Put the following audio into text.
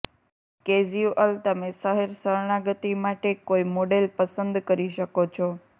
casual તમે શહેર શરણાગતિ માટે કોઈ મોડેલ પસંદ કરી શકો છો